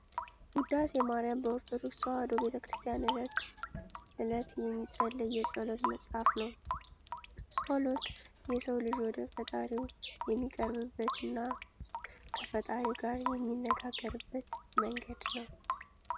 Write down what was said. ውዳሴ ማሪያም በኦርቶዶክስ ተዋሕዶ ቤተክርስቲያን እለት እለት የሚፀለይ የፀሎት መፅሀፍ ነው። ፆሎት የሰው ልጅ ወደ ፈጣሪው የሚቀርብበት እና ከፈጣሪው ጋር የሚነጋገርበት መንገድ ነው።